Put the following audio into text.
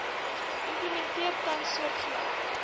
implementeer tans soortgelyke